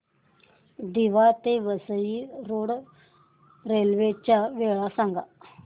दिवा ते Vasai road railway च्या वेळा सांगा